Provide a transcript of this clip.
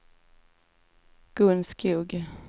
Gun Skog